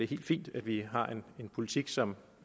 helt fint at vi har en politik som